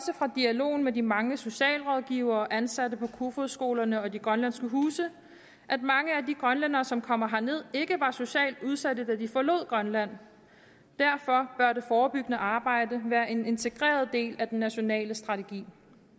fra dialogen med de mange socialrådgivere og ansatte på de kofoeds skoler og de grønlandske huse at mange af de grønlændere som kommer herned ikke var socialt udsatte da de forlod grønland derfor bør det forebyggende arbejde være en integreret del af den nationale strategi